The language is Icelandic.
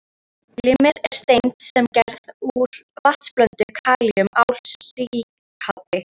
Glimmer er steind sem gerð er úr vatnsblönduðu kalíum-ál-silíkati